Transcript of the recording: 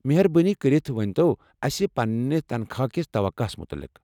مہربٲنی کٔرتھ ونِتو اسہِ پننہ تنخواہ كِس توقعہ ہَس متعلق۔